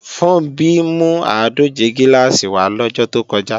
Funbí mú àádòje gíláàsì wá lọ́jọ́ tó kọjá